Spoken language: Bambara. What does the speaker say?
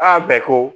Aa bɛɛ ko